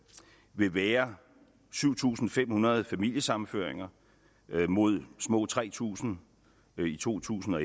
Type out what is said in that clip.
vil være syv tusind fem hundrede familiesammenføringer mod små tre tusind i to tusind og